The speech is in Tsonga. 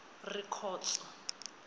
rikhotso